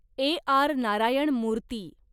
ए. R. Narayan मूर्ती